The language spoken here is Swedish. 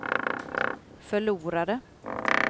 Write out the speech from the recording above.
förlorade